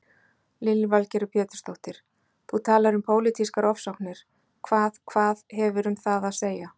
Lillý Valgerður Pétursdóttir: Þú talar um pólitískar ofsóknir, hvað, hvað, hefur um það að segja?